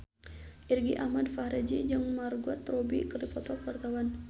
Irgi Ahmad Fahrezi jeung Margot Robbie keur dipoto ku wartawan